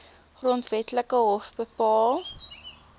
grondwetlike hof bepaal